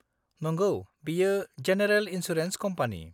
नंगौ, बेयो general insurance company.